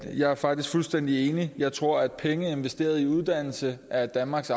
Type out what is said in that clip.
jeg er faktisk fuldstændig enig jeg tror at penge der er investeret i uddannelse af danmarks